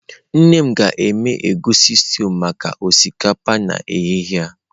Nne m ga-eme egusi stew maka osikapa n'ehihie a.